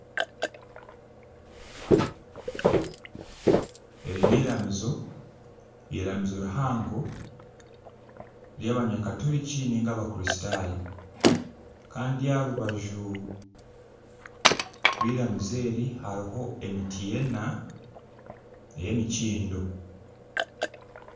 Eri n'iramizo eiramizo rihango ry'abanyakaturikiti nainga abakristaayo. Kandi aha rubaju rw'iramizo eri hariho emiti ena ey'emikindo.